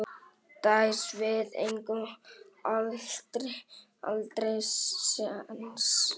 Dæs, við eigum aldrei séns!